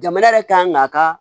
Jamana yɛrɛ kan k'a ka